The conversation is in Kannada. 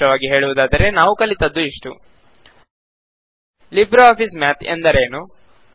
ಸಾರಾಂಶವಾಗಿ ಹೇಳುವುದಾದರೆ ನಾವು ಕಲಿತದ್ದು ಇಷ್ಟು ಲಿಬ್ರೆ ಆಫಿಸ್ ಮ್ಯಾತ್ ಎಂದರೇನು